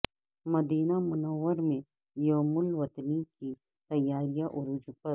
مدینہ منورہ میں یوم الوطنی کی تیاریاں عروج پر